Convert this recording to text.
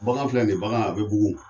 Bagan filɛ nin ye bange a bɛ bugun